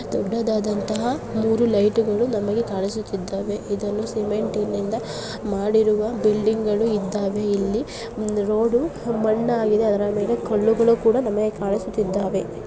ದೊಡ್ದದಾದಂತಹ ಮೂರು ಲೈಟ್ಗಳು ನಮಗೆ ಕಾಣಿಸುತ್ತಿದ್ದಾವೆ. ಇದನ್ನು ಸಿಮೆಂಟನಿಂದ ಮಾಡಿರುವ ಬಿಲ್ಡಿಂಗ್ಗಳು ಇದ್ದಾವೆ. ಇಲ್ಲಿ ರೋಡ್ ಮಣ್ಣಾಗಿದೆ ಅದರ ಮೇಲೆ ಕಲ್ಲುಗಳು ಕೂಡ ನಮಗೆ ಕಾಣಿಸುತ್ತಿದ್ದಾವೆ.